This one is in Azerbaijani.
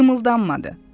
Qımıldanmadı.